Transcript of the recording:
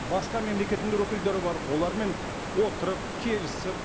басқа мемлекеттің де өкілдері бар олармен отырып келісіп